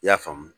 I y'a faamu